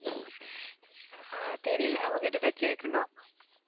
ஆஹ் தெரியல அவகிட்டதான் கேட்கணும்